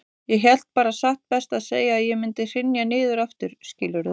Ég hélt bara satt best að segja að ég mundi hrynja niður aftur, skilurðu.